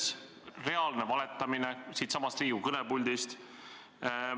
See oli reaalne valetamine siinsamas Riigikogu kõnepuldis.